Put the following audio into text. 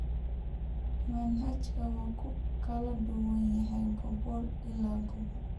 Manhajka waa ku kala duwan yahay gobol ilaa gobol.